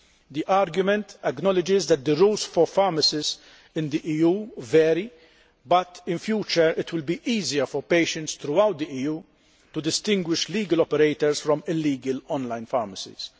The argument acknowledges that the rules for pharmacies in the EU vary but, in future, it will be easier for patients throughout the EU to distinguish legal operators from illegal online pharmacies.